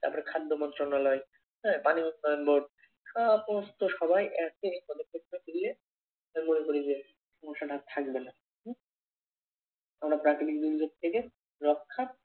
তারপরে খাদ্য মন্ত্রণালয় আহ পানীয় সবাই একে করলে সমস্যাটা আর থাকবে না কোনো প্রাকৃতিক দুর্যোগ থেকে রক্ষা